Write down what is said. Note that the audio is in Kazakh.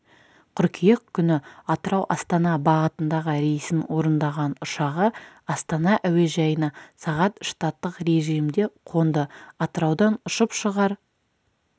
қыркүйек күні атырау-астана бағытындағы рейсін орындаған ұшағы астана әуежайына сағат штаттық режімде қонды атыраудан ұшып шығар